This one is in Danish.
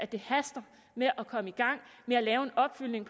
det haster med at komme i gang med at lave en opfølgning